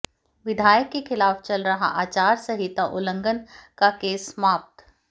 विधायक के खिलाफ चल रहा आचार संहिता उल्लंघन का केस समाप्त